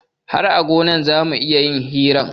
Har a gona zamu iya yin hiran